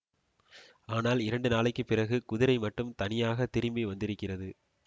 ஆனால் இரண்டு நாளைக்கு பிறகு குதிரை மட்டும் தனியாகத் திரும்பி வந்திருக்கிறது